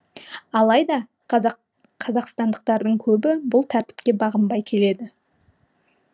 алайда қазақстандықтардың көбі бұл тәртіпке бағынбай келеді